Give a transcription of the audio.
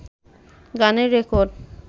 গানের রেকর্ড